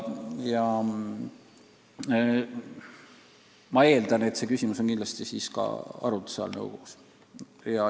Ma eeldan, et see küsimus on nõukogus kindlasti arutluse all.